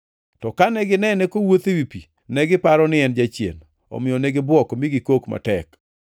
to kane ginene kowuotho ewi pi, negiparo ni en jachien. Omiyo ne gibuok mi gikok matek,